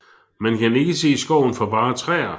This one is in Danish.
Man kan ikke se skoven for bare træer